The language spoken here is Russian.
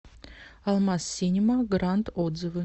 алмаз синема гранд отзывы